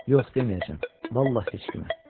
Yox, deməyəcəm, vallah heç kimə.